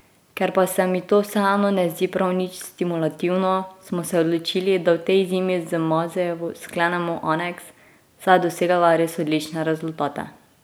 Ker pa se mi to vseeno ne zdi prav nič stimulativno, smo se odločili, da v tej zimi z Mazejevo sklenemo aneks, saj je dosegala res odlične rezultate.